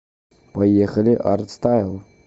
поехали арт стайл